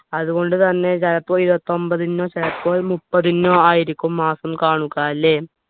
അതുകൊണ്ടുതന്നെ ചിലപ്പോ ഇരുപത്തിഒമ്പതിനോ ചിലപ്പോൾ മുപ്പതിനോ ആയിരിക്കും മാസം കാണുക അല്ലെ